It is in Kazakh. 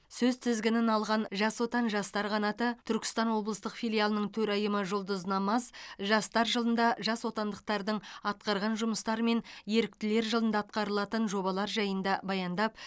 сөз тізгінін алған жас отан жастар қанаты түркістан облыстық филиалының төрайымы жұлдыз намаз жастар жылында жасотандықтардың атқарған жұмыстары мен еріктілер жылында атқарылатын жобалар жайында баяндап